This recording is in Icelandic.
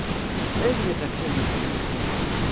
Auðvitað kemur hann til greina.